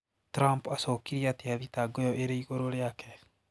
Trump acokirie atia thitango iyo iri igũrũ riake?